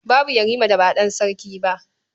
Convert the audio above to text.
Babu Yarima da ba ɗan sarki ba.